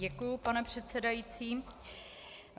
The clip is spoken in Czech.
Děkuji, pane předsedající.